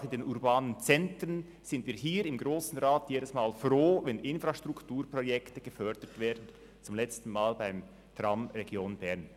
Auch in den urbanen Zentren sind wir im Grossen Rat jedes Mal froh, wenn Infrastrukturprojekte gefördert werden, zum letzten Mal beim Tram Region Bern.